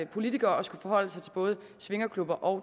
politiker og skulle forholde sig til både swingerklubber og